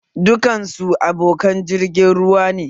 Dukan su abokan jirgin ruwa ne